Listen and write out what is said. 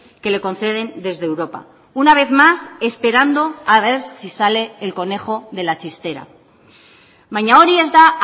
que le conceden desde europa una vez más esperando a ver si sale el conejo de la chistera baina hori ez da